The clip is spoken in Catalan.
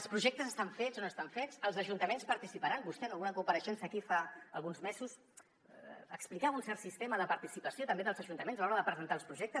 els projectes estan fets o no estan fets els ajuntaments hi participaran vostè en alguna compareixença aquí fa alguns mesos explicava un cert sistema de participació també dels ajuntaments a l’hora de presentar els projec·tes